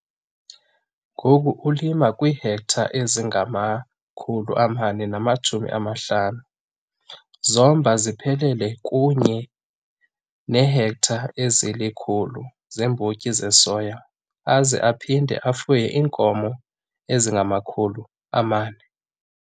Ngoku ulima kwiihektare ezingama-450 zombona ziphelele kunye neehektare ezili-100 zeembotyi zesoya aze aphinde afuye iinkomo ezingama-400.